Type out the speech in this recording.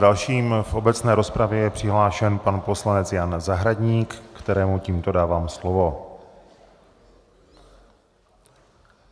Dalším v obecné rozpravě je přihlášen pan poslanec Jan Zahradník, kterému tímto dávám slovo.